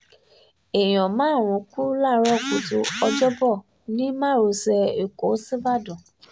èèyàn márùn-ún kú láàárọ̀ kùtù ọjọ́bọ ní márosẹ̀ ẹ̀kọ́ síbàd